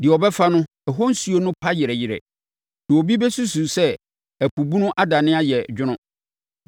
Deɛ ɔbɛfa no, ɛhɔ nsuo no pa yerɛyerɛ; na obi bɛsusu sɛ ɛpo bunu adane ayɛ dwono.